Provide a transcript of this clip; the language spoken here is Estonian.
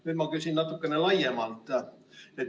Nüüd ma küsin natukene laiemalt.